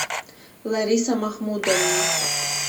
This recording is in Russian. лариса махмудовна